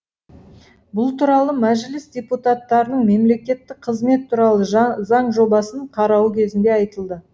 бұл туралы мәжіліс депутаттарының мемлекеттік қызмет туралы заң жобасын қарауы кезінде айтылды